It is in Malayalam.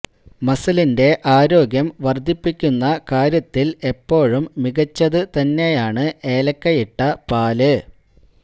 മസിലിന്റെ ആരോഗ്യം വര്ദ്ധിപ്പിക്കുന്ന കാര്യത്തില് എപ്പോഴും മികച്ചത് തന്നെയാണ് ഏലക്കയിട്ട പാല്